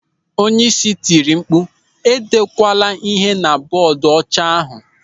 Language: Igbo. Onyeisi tiri mkpu, "E dekwara ịhe na bọọdu ọcha ahụ.